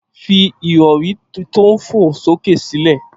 Fi ìrọ̀rí tí ó ń fò sókè sílẹ̀